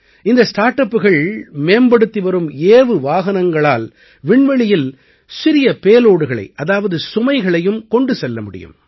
இந்த ஸ்டார்ட் அப்புகள் மேம்படுத்தி வரும் ஏவு வாகனங்களால் விண்வெளியில் சிறிய payloadகளை அதாவது சுமைகளையும் கொண்டு செல்ல முடியும்